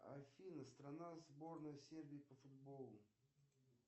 афина страна сборной сербии по футболу